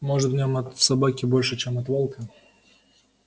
может в нём от собаки больше чем от волка